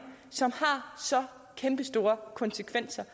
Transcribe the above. som har så kæmpestore konsekvenser